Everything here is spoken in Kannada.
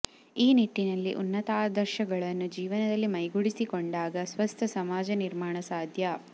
ಈ ನಿಟ್ಟಿನಲ್ಲಿ ಉನ್ನತಾದರ್ಶಗಳನ್ನು ಜೀವನದಲ್ಲಿ ಮೈಗೂಡಿಸಿಕೊಂಡಾಗ ಸ್ವಸ್ಥ ಸಮಾಜ ನಿರ್ಮಾಣ ಸಾಧ್ಯ